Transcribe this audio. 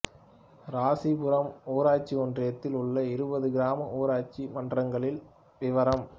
இராசிபுரம் ஊராட்சி ஒன்றியத்தில் உள்ள இருபது கிராம ஊராட்சி மன்றங்களின் விவரம்